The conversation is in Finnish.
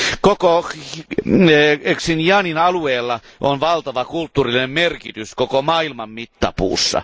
Koko Xinjiangin alueella on valtava kulttuurinen merkitys koko maailman mittapuussa.